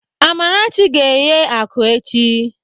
Amarachi ga-eghe akụ echi.